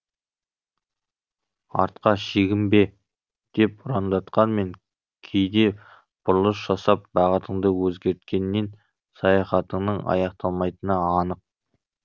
артқа шегінбе деп ұрандатқанмен кейде бұрылыс жасап бағытыңды өзгерткеннен саяхатыңның аяқталмайтыны анық